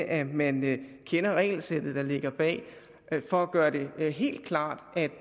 at man kender regelsættet der ligger bag for at gøre det helt klart at